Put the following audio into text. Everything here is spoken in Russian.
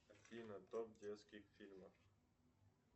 афина топ детских фильмов